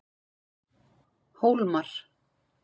Hólmar